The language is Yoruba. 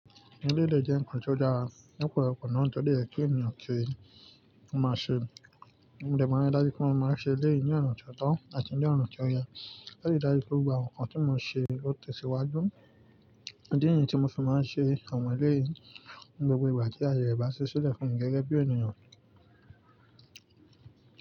Nílé lè jẹ́ ǹkan tó dára. Ni ọ̀pọlọpọ náà tó dé ẹ̀kẹ́ ẹ̀niyan kiri, mo máa ṣe, mo dẹ̀ máa rí dájú pé mo máa ṣe ilé yìí ní ọ̀ nàn tí ó tọ̀ àti ní ọ̀ nàn tí ó yẹ. Láti dájú pé gbogbo àwọn ǹkan tí mo ṣe ó tẹ̀síwájú. Di ìní tí mo sì máa ṣe àwọn ilé yìí ní gbogbo ìgbà kí ayẹyẹ ẹ bàá ṣe sílẹ̀ fún mi gẹ́gẹ́ bí ènìyàn.